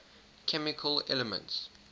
chemical elements